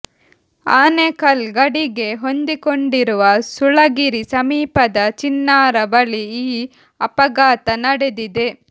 ಆನೇಕಲ್ ಗಡಿಗೆ ಹೊಂದಿಕೊಂಡಿರುವ ಸುಳಗಿರಿ ಸಮೀಪದ ಚಿನ್ನಾರ ಬಳಿ ಈ ಅಪಘಾತ ನಡೆದಿದೆ